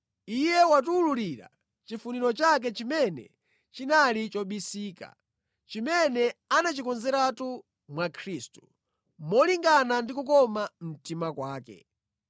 Iye watiwululira chifuniro chake chimene chinali chobisika, chimene anachikonzeratu mwa Khristu, molingana ndi kukoma mtima kwake.